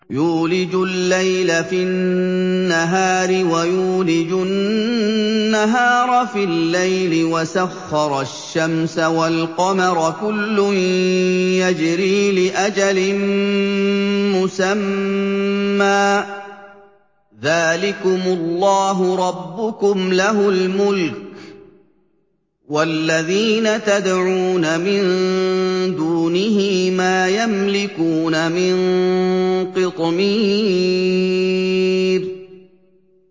يُولِجُ اللَّيْلَ فِي النَّهَارِ وَيُولِجُ النَّهَارَ فِي اللَّيْلِ وَسَخَّرَ الشَّمْسَ وَالْقَمَرَ كُلٌّ يَجْرِي لِأَجَلٍ مُّسَمًّى ۚ ذَٰلِكُمُ اللَّهُ رَبُّكُمْ لَهُ الْمُلْكُ ۚ وَالَّذِينَ تَدْعُونَ مِن دُونِهِ مَا يَمْلِكُونَ مِن قِطْمِيرٍ